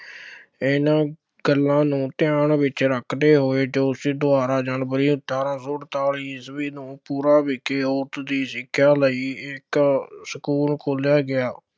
ਇਹਨਾ ਗੱਲਾਂ ਨੂੰ ਧਿਆਨ ਵਿੱਚ ਰੱਖਦੇ ਹੋਏ ਜੋਤੀਬਾ ਦੁਆਰਾ ਜਨਵਰੀ ਅਠਾਰਾਂ ਸੌ ਅਠਤਾਲੀ ਈਸਵੀ ਨੂੰ ਪੂਨਾ ਵਿਖੇ ਔਰਤ ਦੀ ਸਿੱਖਿਆ ਲਈ ਇੱਕ ਸਕੂਲ ਖੋਲ੍ਹਿਆ ਗਿਆ।